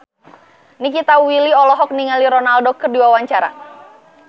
Nikita Willy olohok ningali Ronaldo keur diwawancara